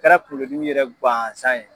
kɛra kungolo dimiyɛrɛ guwanzan ye.